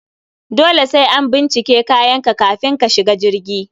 Dole sai an bincike kayanka kafin ka shiga jirgi